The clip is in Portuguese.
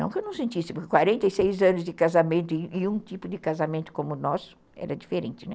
Não que eu não sentisse, porque quarenta e seis anos de casamento e um tipo de casamento como o nosso era diferente, né?